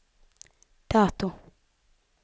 dato